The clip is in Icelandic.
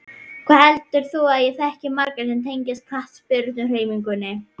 Hvað heldur þú að ég þekki marga sem tengjast knattspyrnuhreyfingunni?